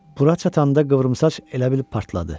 Bura çatanda qıvrımsaç elə bilib partladı.